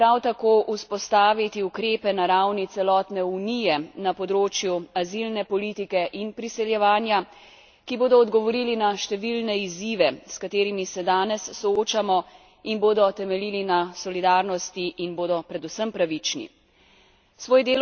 Podobno je treba prav tako vzpostaviti ukrepe na ravni celotne Unije na področju azilne politike in priseljevanje, ki bodo odgovorili na številne izzive, s katerimi se danes soočamo in bodo temeljili na solidarnosti in bodo predvsem pravični.